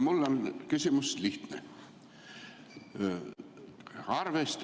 Mul on küsimus lihtne.